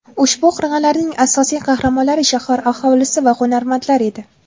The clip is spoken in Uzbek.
Ushbu qirg‘inlarning asosiy qahramonlari shahar aholisi va hunarmandlar edi.